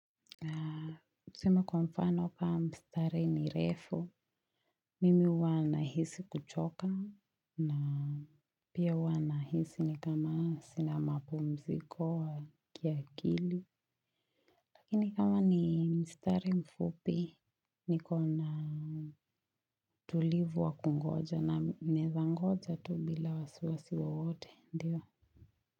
Na tuseme kwa mfano kwa mstare ni refu. Mimi huwa nahisi kuchoka na pia huwa nahisi ni kama sina mapumziko wa kiakili. Lakini kama ni mstari mfupi niko na tulivu wa kungoja na meza ngoja tu bila wasiwasi wowote ndiyo.